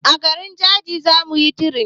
A garin jaji zamuyi tirenin